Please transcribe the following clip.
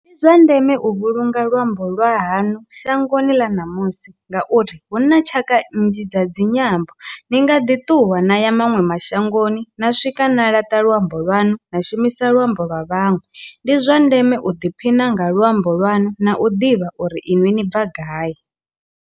Ndi zwa ndeme u vhulunga luambo lwa hanu shangoni ḽa ṋamusi ngauri hu na tshaka nnzhi dza dzinyambo ni nga ḓi ṱuwa na ya maṅwe mashangoni na swika na laṱa luambo lwanu na shumisa luambo lwa vhaṅwe, ndi zwa ndeme u ḓiphina nga luambo lwanu na u ḓivha uri inwi ni bva gai.